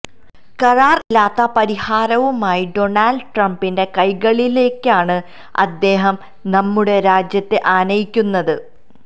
കരാർ ഇല്ലാത്ത പരിഹാരവുമായി ഡൊണാൾഡ് ട്രംപിന്റെ കൈകളിലേക്കാണ് അദ്ദേഹം നമ്മുടെ രാജ്യത്തെ ആനയിക്കുന്നത്